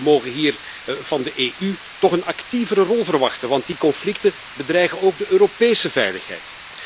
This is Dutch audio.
We mogen hier van de EU toch een actievere rol verwachten want die conflicten bedreigen ook de Europese veiligheid.